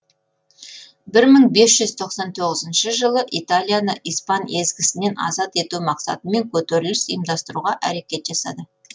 бір мың бес жүз тоқсан тоғызыншы жылы италияны испан езгісінен азат ету мақсатымен көтеріліс ұйымдастыруға әрекет жасады